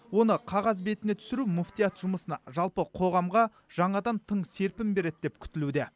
оны қағаз бетіне түсіру мүфтият жұмысына жалпы қоғамға жаңадан тың серпін береді деп күтілуде